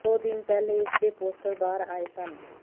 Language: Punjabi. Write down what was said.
ਦੋ ਦਿਨ ਪਹਿਲੇ ਇਸ ਦੇ ਪੋਸਟਰ ਬਾਹਰ ਆਏ ਸਨ